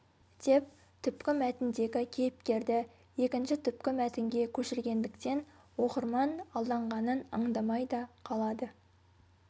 деп түпкі мәтіндегі кейіпкерді екінші түпкі мәтінге көшіргендіктен оқырман алданғанын аңдамай да қалады